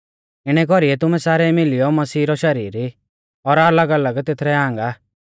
इणै कौरीऐ तुमै सारै मिलियौ मसीहा रौ शरीर ई और अलगअलग तेथरै आंग आ